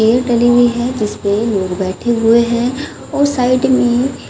chair डली हुई है जिसपे लोग बैठे हुए है और साइड में--